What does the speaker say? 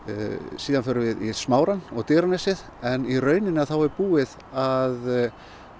síðan förum við í smárann og Digranesið en í rauninni er búið að